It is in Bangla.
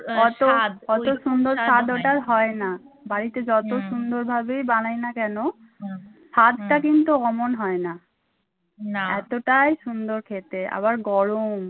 বাড়িতে যত সুন্দর ভাবেই বানাই না কেন স্বাদটা কিন্তু ওমন হয়না। এতটাই সুন্দর খেতে আবার গরম।